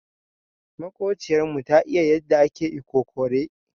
Makociyar mu ta iya yanda ake ikokore.